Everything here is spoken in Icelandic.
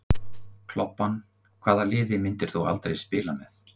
Klobbann Hvaða liði myndir þú aldrei spila með?